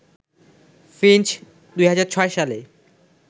Finch ২০০৬ সালে